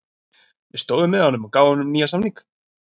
Við stóðum með honum og gáfum honum nýjan samning.